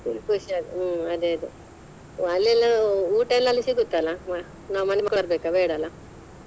ಖುಷಿ ಆಗುತ್ತೆ ಹು ಅದೆ ಅದೆ ಅಲ್ಲಿ ಎಲ್ಲಾ ಊಟ ಎಲ್ಲಾ ಅಲ್ಲಿ ಸಿಗುತ್ತಾ ಅಲಾ ನಾವ್ ಮಾಡ್ಕೊಬರ್ಬೇಕಾ ಬೇಡ ಅಲ್ಲ?